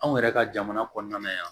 Anw yɛrɛ ka jamana kɔnɔna na yan